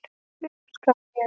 Upp skal ég.